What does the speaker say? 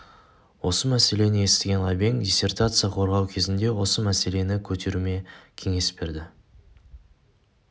осы мәселені естіген ғабең диссертация қорғау кезінде осы мәселені көтеруіме кеңес берді